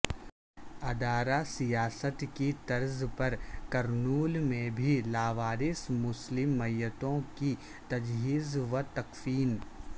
ادارہ سیاست کی طرز پر کرنول میں بھی لاوارث مسلم میتوں کی تجہیز و تکفین